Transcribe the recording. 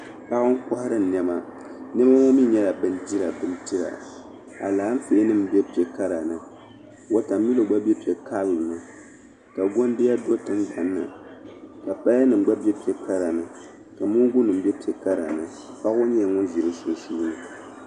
Paɣa n-kɔhiri nɛma. Nɛma ŋɔ mi nyɛla bindirabindira alaafeenima be piɛ' kara ni watamilo gba be piɛ' karili ka gɔnda do tiŋgbani ni ka payanima gba be piɛ' kara ni ka mooŋgunima be piɛ' kara ni. Paɣa ŋɔ nyɛla ŋun ʒi di sunsuuni.